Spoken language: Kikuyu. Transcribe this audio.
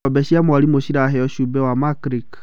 Ng'ombe cia mwarimũ ciraheo cumbĩ wa Makilick.